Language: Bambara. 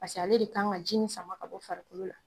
Paseke ale de kan ka ji nin sama ka bɔ farikolo la.